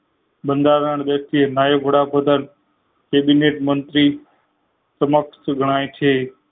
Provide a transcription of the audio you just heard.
બંધારણ વ્યક્તિ નાયક વડાપ્રધાન તિબેટ મંત્રી સમક્ષ ગણાય છે